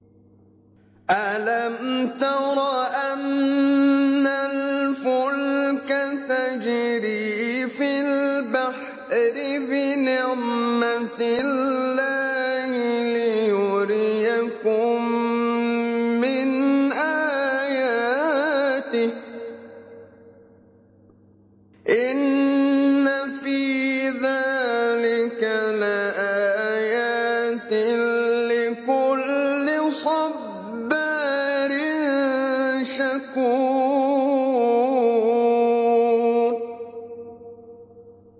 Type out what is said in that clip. أَلَمْ تَرَ أَنَّ الْفُلْكَ تَجْرِي فِي الْبَحْرِ بِنِعْمَتِ اللَّهِ لِيُرِيَكُم مِّنْ آيَاتِهِ ۚ إِنَّ فِي ذَٰلِكَ لَآيَاتٍ لِّكُلِّ صَبَّارٍ شَكُورٍ